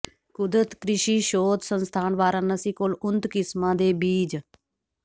ਕੁਦਰਤ ਕ੍ਰਿਸ਼ੀ ਸ਼ੋਧ ਸੰਸਥਾਨ ਵਾਰਾਣਸੀ ਕੋਲ ਉਨਤ ਕਿਸਮਾਂ ਦੇ ਬੀਜ